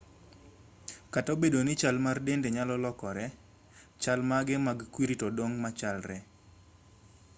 kata obedo ni chal mar dende nyalo lokore chal mage mag kwiri to dong' machalre